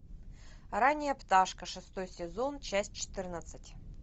ранняя пташка шестой сезон часть четырнадцать